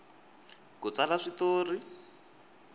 ku tsala swi tori